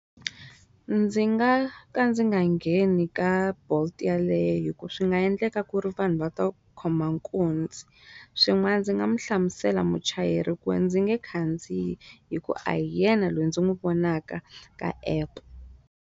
Ndzi nga ka ndzi nga ngheni ka bolt yaleyo hi ku swi nga endleka ku ri vanhu va to khoma nkunzi swin'wana ndzi nga mu hlamusela muchayeri ku ndzi nge khandziya hi ku a hi yena loyi ndzi n'wi vonaka ka app.